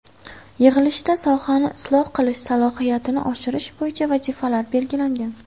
Yig‘ilishda sohani isloh qilish, salohiyatini oshirish bo‘yicha vazifalar belgilangan.